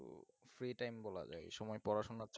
free time বলা যায় এই সময় পড়াশোনা